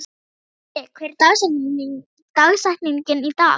Himri, hver er dagsetningin í dag?